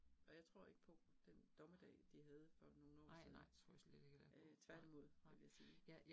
Og jeg tror ikke på den dommedag, de havde for nogle år siden. Øh tværtimod det vil jeg sige